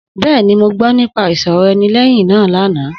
Bẹ́ẹ̀ni, mo gbọ́ nípa ìsọ̀rọ̀ ẹni lẹ́yìn náà lánàá